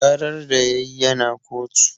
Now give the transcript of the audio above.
Ƙarar da yayi yana kotu